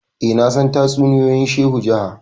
eh nasan tatsuniyoyin shehu jaha